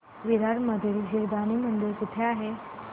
विरार मधील जीवदानी मंदिर कुठे आहे